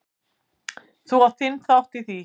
Þú átt þinn þátt í því.